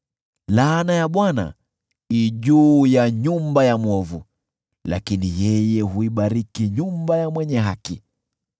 Laana ya Bwana i juu ya nyumba ya mwovu, lakini yeye huibariki nyumba ya mwenye haki.